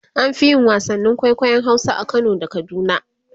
an Fi yin wasannin kwaikwayon Hausa a Kano da kaduna